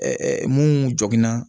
mun jogi na